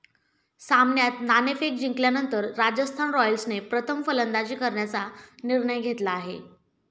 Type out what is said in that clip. सामन्यात नाणेफेक जिंकल्यानंतर राजस्थान रॉयल्सने प्रथम फलंदाजी करण्याचा निर्णय घेतला आहे.